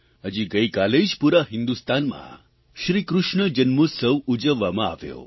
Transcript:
હજી ગઇકાલે જ પૂરા હિંદુસ્તાનમાં શ્રીકૃષ્ણ જન્મોત્સવ ઉજવવામાં આવ્યો